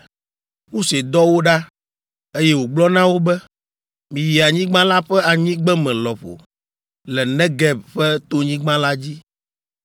Mose dɔ wo ɖa, eye wògblɔ na wo be, “Miyi anyigba la ƒe anyigbeme lɔƒo, le Negeb ƒe tonyigba la dzi,